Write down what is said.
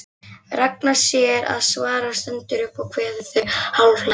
Ragna sér að svara, stendur upp og kveður þau hálfhlæjandi.